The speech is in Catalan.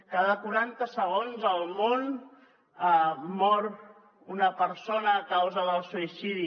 cada quaranta segons al món mor una persona a causa del suïcidi